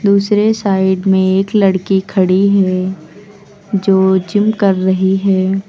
दूसरे साइड में एक लड़की खड़ी है जो जिम कर रही है।